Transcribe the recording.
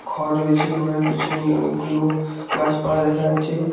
ঘর রয়েছে ঘরের পিছনে অনেকগুলো গাছপালা দেখা যাচ্ছে।